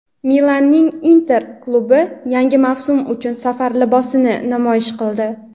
Milanning "Inter" klubi yangi mavsum uchun safar libosini namoyish qildi.